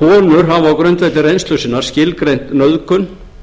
konur hafa á grundvelli reynslu sinnar skilgreint nauðgun sem